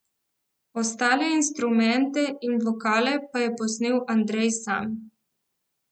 Ostale instrumente in vokale pa je posnel Andrej sam.